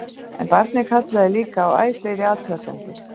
En barnið kallaði líka á æ fleiri athugasemdir.